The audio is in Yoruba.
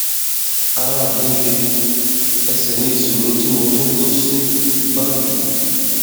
ara mi lé ẹsẹ ní ìṣòro tí mo tún kó sí báyìí